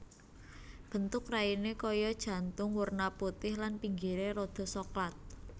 Bentuk raine kaya jantung werna putih lan pinggire rada soklat